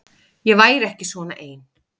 Ég væri ekki svona ein.